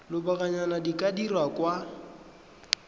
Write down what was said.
lobakanyana di ka dirwa kwa